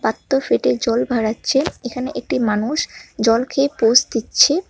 ফেটে জল ভারাচ্ছে এখানে একটি মানুষ জল খেয়ে পোজ দিচ্ছে।